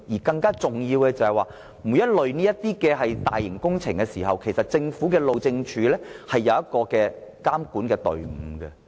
更重要的是，每當有這類大型工程施工，政府路政署都會成立監管隊伍。